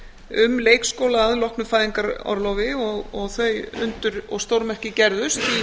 um leikskóla að loknu fæðingarorlofi og þau undur og stórmerki gerðust